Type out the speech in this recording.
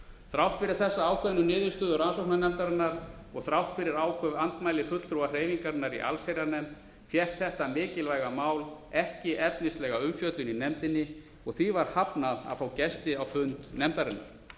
þrátt fyrir niðurstöðu rannsóknarnefndarinnar og þrátt fyrir áköf andmæli fulltrúa hreyfingarinnar í allsherjarnefnd fékk þetta mikilvæga mál ekki efnislega umfjöllun í nefndinni og því var hafnað að fá gesti á fund nefndarinnar